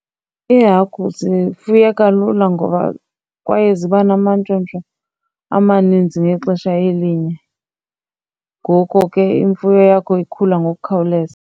Iihagu zifuyeka lula ngoba kwaye ziba namantshontsho amaninzi ngexesha elinye. Ngoko ke imfuyo yakho ikhula ngokukhawuleza.